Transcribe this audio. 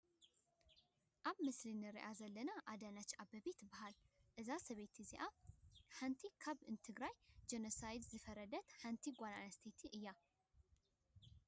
እዛ ኣብ ምስሊ እንሪኣ ዘለና ኣዳነሽ ኣበቤ ትባሃለ። እዛ ሰበይቲ እዚኣ ሓንቲ ካብቲ ንትግራይ ጀኖሳይደር ዝፈረደት ሓንቲ ጓል ኣነስተይቲ እያ።